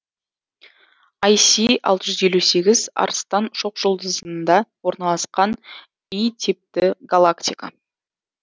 ай си алты жүз елу сегіз арыстан шоқжұлдызында орналасқан и типті галактика